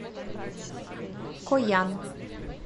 коян